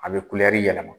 A bɛ kulɛri yɛlɛma